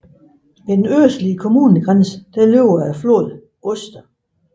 Ved den østlige kommunegrænse løber floden Oste